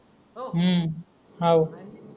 हम्म हव